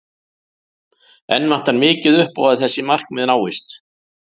Enn vantar mikið upp á að þessi markmið náist.